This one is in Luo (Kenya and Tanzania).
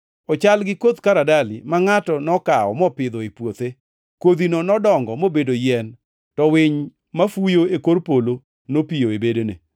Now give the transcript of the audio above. Ochal gi koth karadali, ma ngʼato nokawo mopidho e puothe. Kodhino nodongo mobedo yien, to winy mafuyo e kor polo nopiyo e bedene.”